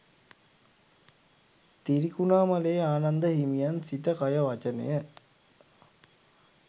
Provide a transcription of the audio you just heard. තිරිකුණාම‍ලේ ආනන්ද හිමියන් සිත කය වචනය